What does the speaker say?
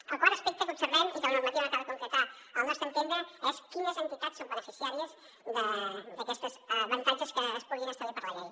el quart aspecte que observem i que la normativa no acaba de concretar al nostre entendre és quines entitats són beneficiàries d’aquests avantatges que es puguin establir per la llei